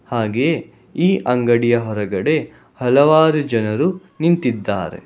ಹಾಗೆ ಈ ಅಂಗಡಿಯ ಹೊರಗಡೆ ಹಲವಾರು ಜನರು ನಿಂತಿದ್ದಾರೆ.